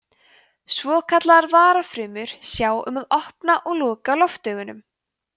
svokallaðar varafrumur sjá um að opna og loka loftaugunum